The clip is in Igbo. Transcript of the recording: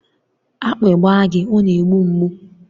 Akpị gba gị ọ na-egbu mgbu